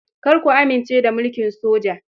Kar ku amince da mulkin soja.